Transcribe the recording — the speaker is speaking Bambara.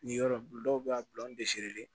Nin yɔrɔ dɔw bɛ yen a bɛ an bɛ